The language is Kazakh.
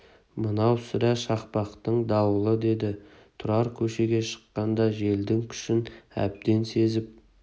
мынау сірә шақпақтың дауылы деді тұрар көшеге шыққанда желдің күшін әбден сезіп